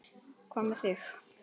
Hvað með þig?